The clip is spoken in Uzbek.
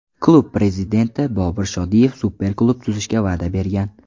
Klub prezidenti Bobur Shodiyev super klub tuzishga va’da bergan.